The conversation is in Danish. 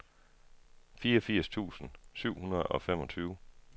fireogfirs tusind syv hundrede og femogtyve